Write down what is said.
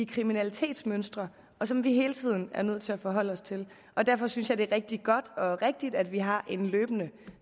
kriminalitetsmønstre som vi hele tiden er nødt til at forholde os til derfor synes jeg at det er rigtig godt og rigtigt at vi har en løbende